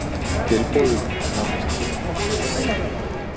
Tilboð um nánast ekki neitt